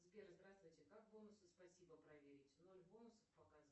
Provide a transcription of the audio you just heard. сбер здравствуйте как бонусы спасибо проверить ноль бонусов показывает